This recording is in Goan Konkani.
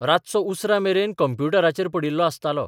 रातचो उसरा मेरेन कम्प्युटराचेर पडिल्लो आसतालो.